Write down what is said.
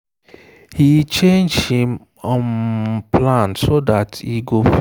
he change him um plan so that e go fit join her for community marriage um blessing.